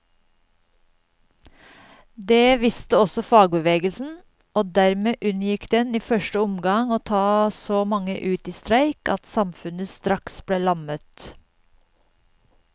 Det visste også fagbevegelsen, og dermed unngikk den i første omgang å ta så mange ut i streik at samfunnet straks ble lammet.